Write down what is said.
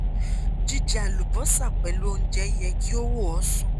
jíjẹ àlùbọ́sà pẹ̀lú oúnjẹ yẹ kí ó wò ó sàn